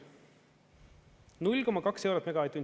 0,2 eurot megavatt-tund.